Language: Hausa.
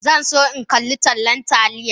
Zan so in kalli tallan Taliya